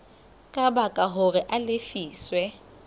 ka baka hore a lefiswe